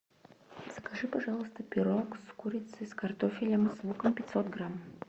закажи пожалуйста пирог с курицей с картофелем с луком пятьсот грамм